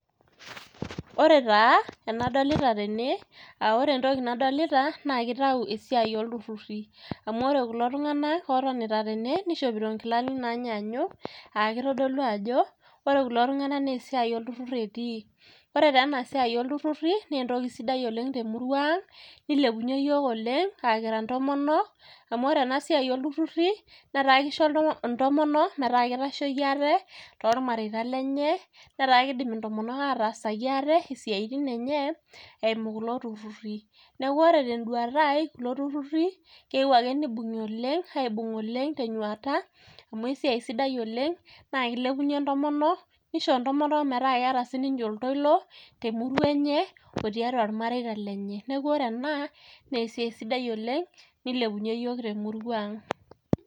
Ore taa, enadolita tene, aore entoki nadolita, na kitau esiai olturrurri. Amu ore kulo tung'anak otonita tene, nishopito inkilani nanyanyuk, akitidolu ajo, ore kulo tung'anak nesiai olturrur etii. Ore tenasiai olturrurri, nentoki sidai oleng' temurua ang',nilepunye yiok oleng',akira ntomonok, amu ore enasiai olturrurri, netaa kisho intomono metaa kitasheiki aate, tormareita lenye, netaa kiidim intomonok atasaki aate isiaitin enye, eimu kulo turrurri. Neeku ore teduata ai kulo turrurri, keu ake nibung'i oleng',aibung' oleng' tenyuata, amu esiai sidai oleng', na kilepunye ntomonok, nisho intomonok metaa keeta sininche oltoilo, temurua enye, otiatua mareita lenye. Neeku ore ena, nesiai sidai oleng',nilepunye yiok temurua ang'.